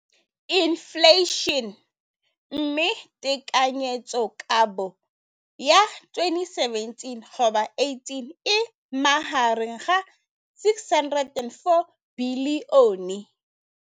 Infleišene, mme tekanyetsokabo ya 2017, 18, e magareng ga R6.4 bilione.